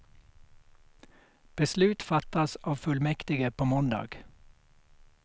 Beslut fattas av fullmäktige på måndag.